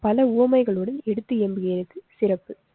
பலஉவமைகளுடன் எடுத்தியம்புகிறது சிறப்பு.